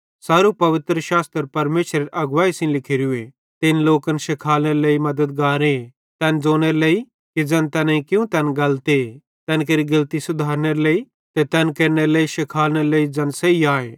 सारू पवित्रशास्त्र परमेशरेरे अगवैई सेइं लिखोरू ते इन लोकन शिखालने लेइ मद्दतगारे तैन ज़ोनेरे लेइ कि ज़ैन तैनेईं कियूं तैन गलते तैन केरि गेलती सुधारनेरे लेइ ते तैन केरनेरे लेइ शिखालनेरे लेइ ज़ैन सही आए